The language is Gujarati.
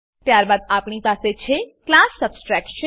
ત્યારબાદ આપણી પાસે છે ક્લાસ સબટ્રેક્શન ક્લાસ સબટ્રેક્શન